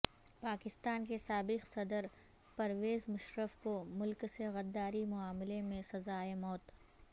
پاکستان کے سابق صدر پرویز مشرف کو ملک سے غداری معاملے میں سزائے موت